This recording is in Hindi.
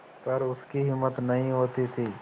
पर उसकी हिम्मत नहीं होती थी